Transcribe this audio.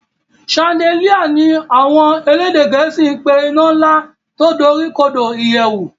Chandelier ní àwọn elédè gèésì pé ina Nla tí dorikodo ìyèwù